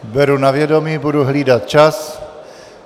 Beru na vědomí, budu hlídat čas.